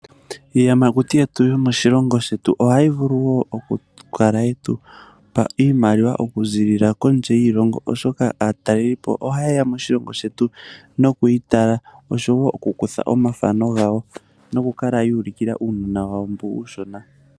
Iiyamakuti yetu yo moshilongo shetu ohayi vulu wo oku kala ye tupa iimaliwa oku ziilila kondje yiilongo, oshoka aatalelipo ohaye ya moshilongo shetu noku yi tala, oshowo okukutha omathano gawo. Nokukala ya ulikila uunona wawo mboka uushona.